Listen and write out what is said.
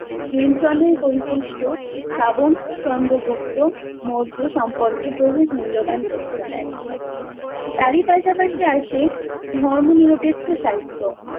হেমচন্দ্রের পরিশিষ্ট চন্দ্রগুপ্ত মৌর্য সম্পর্কে বহু মূল্যবান তথ্য দেয়। তারই পাশাপাশি আসে ধর্ম নিরপেক্ষ সাহিত্য।